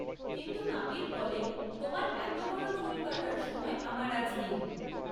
কিন্তু নাপিত বলে, তোমার এত বড় চুল কাটার সময় আমার আজ নেই!